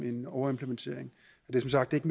overimplementering helt nøjagtigt